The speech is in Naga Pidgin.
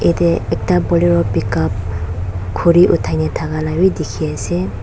ede ekta bolero pick up khuri uthai na thake la b dikhi ase.